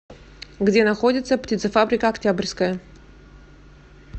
где находится птицефабрика октябрьская